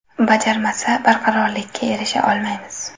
Bajarmasa, barqarorlikka erisha olmaymiz.